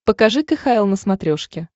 покажи кхл на смотрешке